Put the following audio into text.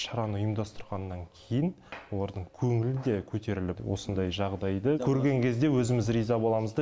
шараны ұйымдастырғаннан кейін олардың көңілі де көтеріліп осындай жағдайды көрген кезде өзіміз риза боламыз да